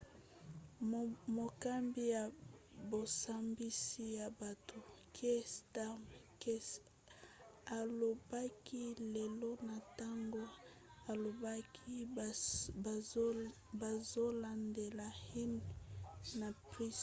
mokambi ya bosambisi ya bato kier starmer qc alobaki lelo na ntango alobaki bazolandela huhne na pryce